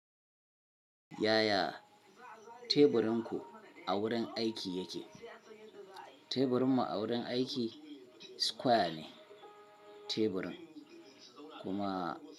Yaya teburin ku a wurin aiki yake? Teburinmu a wurin aiki square ne teburin, kuma.